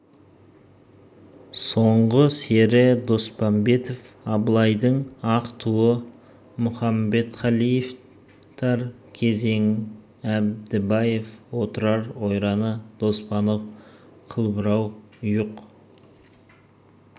соңғы сері доспанбетов абылайдың ақ туы мұқамбетқалиев тар кезең әдібаев отырар ойраны досанов қылбұрау ұйық